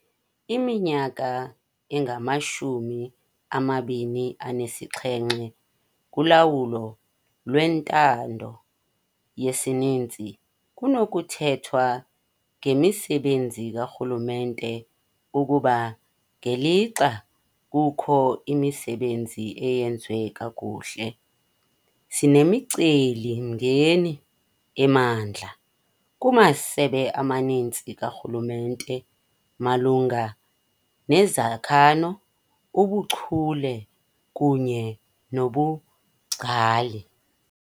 Iminyaka engamashumi amabini anesixhenxe kulawulo lwentando yesininzi, kunokuthethwa ngemisebenzi karhulumente ukuba, ngelixa kukho imisebenzi eyenziwe kakuhle, sinemicelimngeni emandla kumasebe amaninzi karhulumente malunga nezakhano, ubuchule kunye nobungcali.